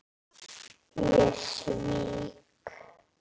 Ég svík